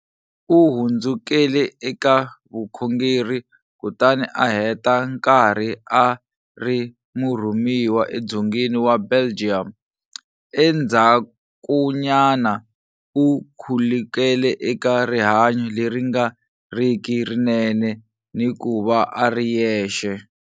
U hundzukele eka vukhongeri kutani a heta nkarhi a ri murhumiwa edzongeni wa Belgium. Endzhakunyana u khulukele eka rihanyo leri nga riki rinene ni ku va a ri yexe.